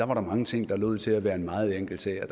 var der mange ting der lod til at være en meget enkel sag og